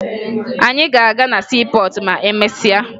Anyị ga-aga na siipọọtụ ma emesịa